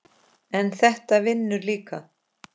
en þetta vinnur líka.